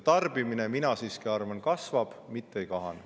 Ja mina siiski arvan, et tarbimine kasvab, mitte ei kahane.